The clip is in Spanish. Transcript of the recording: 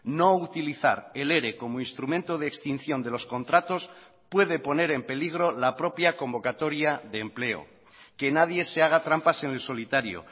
no utilizar el ere como instrumento de extinción de los contratos puede poner en peligro la propia convocatoria de empleo que nadie se haga trampas en el solitario